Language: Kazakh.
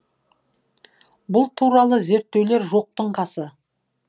бұл туралы зерттеулер жоқтың қасы